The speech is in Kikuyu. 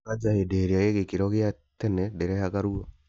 Kanja hĩndĩ ĩrĩa ĩ gĩkĩro gĩa tene ndĩrehaga ruo